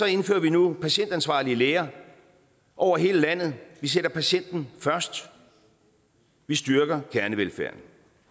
indfører vi nu patientansvarlige læger over hele landet vi sætter patienten først vi styrker kernevelfærden